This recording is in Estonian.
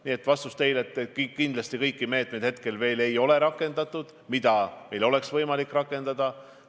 Nii et ma vastan teile: kindlasti ei ole rakendatud kõiki meetmeid, mida oleks võimalik rakendada.